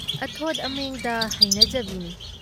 ꯑꯊꯣꯠ ꯑꯃꯦꯡꯗ ꯍꯩꯅꯖꯕꯤꯅꯤ ꯫